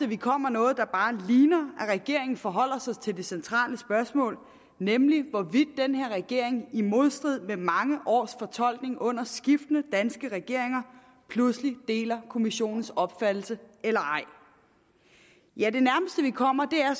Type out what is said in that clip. vi kommer noget der bare ligner at regeringen forholder sig til det centrale spørgsmål nemlig hvorvidt den her regering i modstrid med mange års fortolkning under skiftende danske regeringer pludselig deler kommissionens opfattelse eller ej ja det nærmeste vi kommer er